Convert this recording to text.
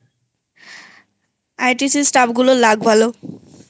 ITC Stuffগুলোর luck ভালোI